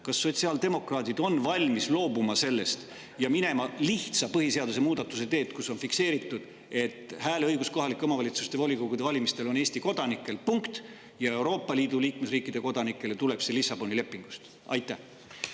Kas sotsiaaldemokraadid on valmis sellest loobuma ja minema põhiseaduse lihtsa muudatuse teed, kus on fikseeritud, et hääleõigus kohalike omavalitsuste volikogude valimistel on Eesti kodanikel, punkt, ja Euroopa Liidu liikmesriikide kodanikel tuleneb see Lissaboni lepingust?